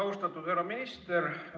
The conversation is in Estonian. Austatud härra minister!